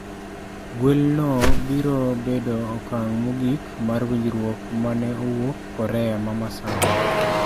Gwelno biro bedo okang' mogik mar winjruok ma ne owuok Korea ma masawa.